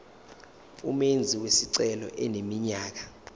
umenzi wesicelo eneminyaka